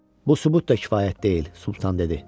Bu sübut da kifayət deyil, Sultan dedi.